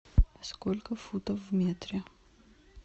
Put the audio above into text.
сколько футов в метре